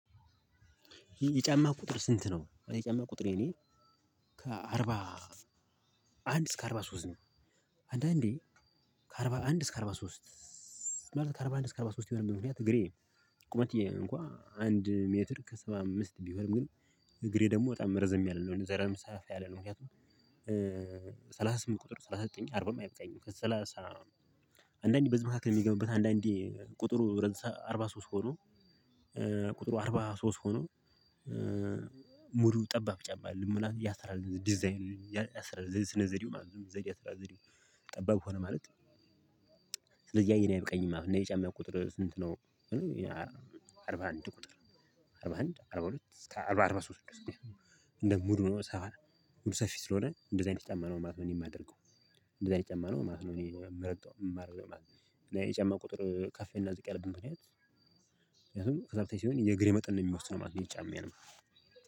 የጫማ ቁጥርህ ስንት ነው? የጫማ ቁጥሬ እኔ ከአርባ አንድ እስከ አርባ ሶስት ነው። አንዳንዴ ከአርባ አንድ እስከ አርባ ሶስት ሲባል ከአርባ አንድ እስከ አርባ ሶስት የሆነበት ምክንያት እግሬ ቁመቴም እንኳን አንድ ሜትር ከሰባ አምስት ቢሆንም ግን እግሬ ደግሞ በጣም ረዘም ያለ ነው። እንዲ ሰፈፍ ያለ ነው። ምክንያቱም ሰላሳ ስምንት ቁጥር ሰላሳ ዘጠኝ አርባም አይበቃኝም ከሰላሳ አንዳንዴ በዚህ መካከል ሚገቡበት አንዳንዴ ቁጥሩ አርባ ሶስት ሆኖ ቁጥሩ አርባ ሶስት ሆኖ ሙሉው ጠባብ ጫማ አደለም። ምናልባት ያሰራር ዲዛይን ያሰራር ስነ ዘዴው ማለት ነው። ዘዴ የአሰራር ዘዴው ጠባብ ሆነ ማለት ስለዚህ ያ እኔ አይበቃኝም ማለት ነው። የእኔ ጫማ ቁጥርህ ስንት ነው ቢሉኝ፥ አርባ አንድ ቁጥር አርባ አንድ አርባ ሁለት እስከ አርባ አርባ ሶስት ድረስ እንደ ሙሉ ሆኖ ሰፋ ሰፊ ስለሆነ እንደዚህ አይነት ጫማ ነው ማለት ነው እኔ የማደርገው። እንደዚህ አይነት ጫማ ነው ማለት ነው እኔ ምረግጠው የማደርገው ማለት ነው። እና የጫማ ቁጥር ከፍ እና ዝቅ ያለበት ምክንያት ምክንያቱም ሰፊ ሲሆን የእግሬ መጠን ነው የሚወስነው ማለት ነው የጫማዬንም